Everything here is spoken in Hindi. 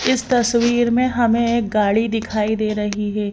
इस तस्वीर में हमें एक गाड़ी दिखाई दे रही है।